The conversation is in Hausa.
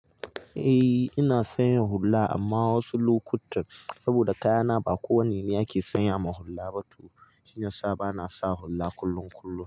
Eh ina sanya hulla amma wasu lokutan saboda kayana ba kowane ne ake sanya ma hulla ba to shiyasa bana sa hulla kullun kullun.